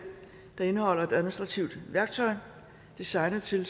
der indeholder et administratitvt værktøj designet til at